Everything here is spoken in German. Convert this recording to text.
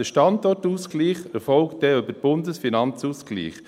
Der Standortausgleich erfolgt dann über den Bundesfinanzausgleich.